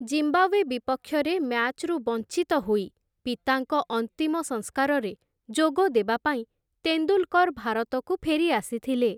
Zimbabwe ବିପକ୍ଷରେ ମ୍ୟାଚ୍‌ରୁ ବଞ୍ଚିତ ହୋଇ, ପିତାଙ୍କ ଅନ୍ତିମ ସଂସ୍କାରରେ ଯୋଗଦେବା ପାଇଁ ତେନ୍ଦୁଲ୍‌କର୍‌ ଭାରତକୁ ଫେରିଆସିଥିଲେ ।